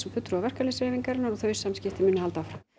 og fulltrúa verkalýðsfélagarinnar og þau samskipti halda áfram